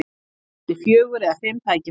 Ég átti fjögur eða fimm tækifæri.